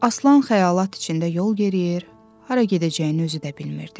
Aslan xəyalat içində yol yeriyir, hara gedəcəyini özü də bilmirdi.